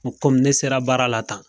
N ko komi ne sera baara la tan